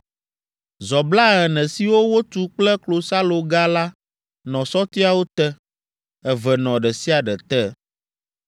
Zɔ blaene siwo wotu kple klosaloga la nɔ sɔtiawo te, eve nɔ ɖe sia ɖe te.